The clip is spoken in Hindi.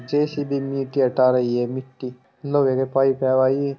जे.सी.बी. मिट्टी हटा रही है मिट्टी लोहे के पाइप है भाई ये।